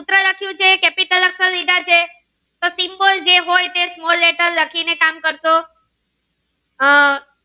એ હોય એ small leter કામ કરસો હમ